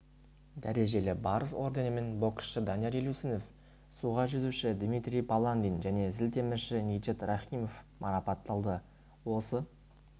дәрежелі барыс орденімен боксшы данияр елеусінов суға жүзуші дмитрий баландин және зілтемірші ниджат рахимов марапатталды осы